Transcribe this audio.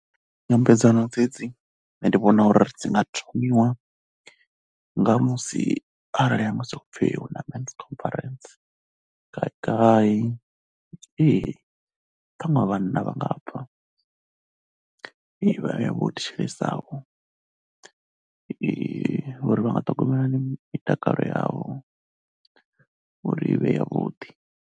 Nyambedzano dzedzi nṋe ndi vhona uri dzi nga thomiwa nga musi arali ha musi ho pfhi hu na men's conference kha khai. Ee Ṱhaṅwe a vhanna vha nga pfha, vha vhe vho thetshelesaho uri vha nga ṱhogomela hani mitakalo yavho uri i vhe yavhuḓi.